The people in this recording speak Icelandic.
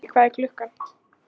Skuggi, hvað er klukkan?